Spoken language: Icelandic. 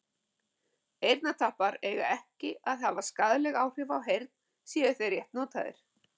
Eyrnatappar eiga ekki að hafa skaðleg áhrif á heyrn séu þeir rétt notaðir.